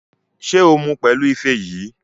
Ṣé o mu pẹ̀lú ife yìí?